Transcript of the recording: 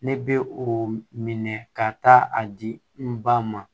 Ne bɛ o minɛ ka taa a di n ba ma